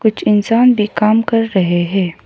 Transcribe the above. कुछ इंसान भी काम कर रहे हैं।